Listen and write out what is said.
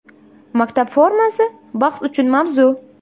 Maktab formasi – bahs uchun mavzu.